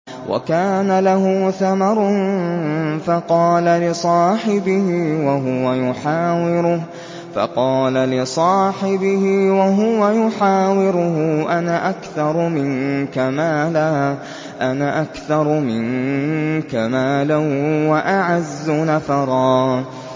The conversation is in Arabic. وَكَانَ لَهُ ثَمَرٌ فَقَالَ لِصَاحِبِهِ وَهُوَ يُحَاوِرُهُ أَنَا أَكْثَرُ مِنكَ مَالًا وَأَعَزُّ نَفَرًا